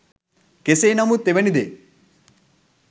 කෙසේ නමුත් එවැනි දේ